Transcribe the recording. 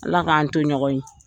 Ala k'an to ɲɔgɔn ye.